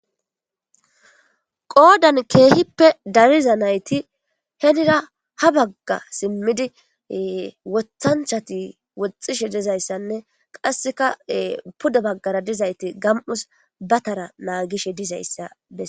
qoodan keehippe dariza nayti henira ha bagga simmidi wothanchati woxxishe dizayssanne qasseka puda baggara dizayti gam7us batara naagishe dizayssa beses